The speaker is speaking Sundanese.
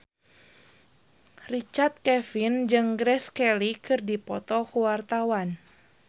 Richard Kevin jeung Grace Kelly keur dipoto ku wartawan